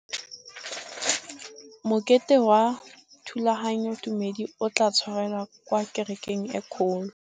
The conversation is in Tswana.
Mokete wa thulaganyôtumêdi o tla tshwarelwa kwa kerekeng e kgolo.